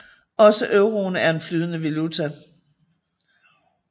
Også euroen er en flydende valuta